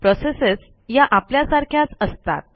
processes ह्या आपल्यासारख्याच असतात